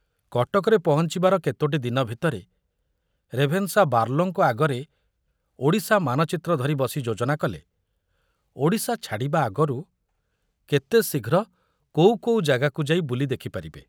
କଟକରେ ପହଞ୍ଚିବାର କେତୋଟି ଦିନ ଭିତରେ ରେଭେନ୍ସା ବାର୍ଲୋଙ୍କ ଆଗରେ ଓଡ଼ିଶା ମାନଚିତ୍ର ଧରି ବସି ଯୋଜନା କଲେ ଓଡ଼ିଶା ଛାଡ଼ିବା ଆଗରୁ କେତେ ଶୀଘ୍ର କୋଉ କୋଉ ଜାଗାକୁ ଯାଇ ବୁଲି ଦେଖିପାରିବେ।